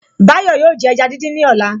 Báyọ̀ yóò jẹ ẹja dídín ní ọ̀la